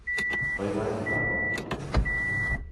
Poipoen lagok chuk.